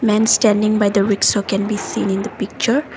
man standing by the rikshaw can be seen in the picture.